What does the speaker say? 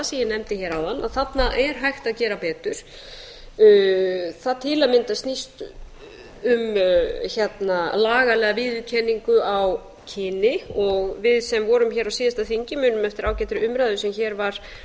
ég nefndi hér áðan að þarna er hægt að gera betur það til að mynda snýst um lagalega viðurkenningu á kyni og við sem vorum hér á síðasta þingi munum eftir ágætri umræðu sem hér var